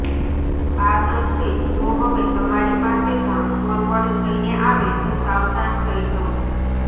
આ તસવીર જો હવે તમારી પાસે પણ ફોરવર્ડ થઈને આવે તો સાવધાન થઈ જવું